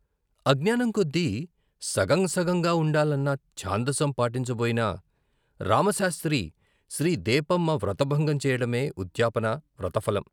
అజ్ఞానం కొద్దీ సగం సగంగా ఉండాలన్న ' ఛాందసం ' పాటించ బోయిన రామశాస్త్రి శ్రీ దేపమ్మ వ్రతభంగం చెయ్యడమే ఉద్యాపన, వ్రత ఫలం.